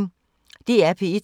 DR P1